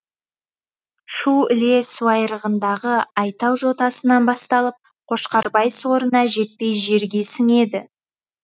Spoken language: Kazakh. шу іле суайрығындағы айтау жотасынан басталып қошқарбай сорына жетпей жерге сіңеді